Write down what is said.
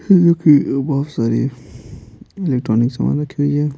जो कि बहुत सारी इलेक्ट्रॉनिक सामान रखी हुई है।